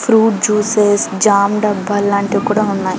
fruit juices jam డబ్బాలు లాంటివి కూడా ఉన్నాయి